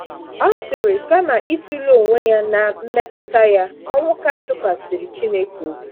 Ọ sịrị: “ Kama ịtụle onwe ya na mmetụta ya, Onwuka tụkwasịrị Chineke obi.”